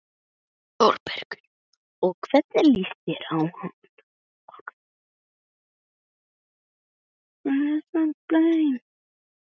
ÞÓRBERGUR: Og hvernig líst þér á hann?